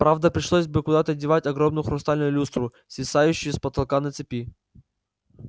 правда пришлось бы куда-то девать огромную хрустальную люстру свисающую с потолка на цепи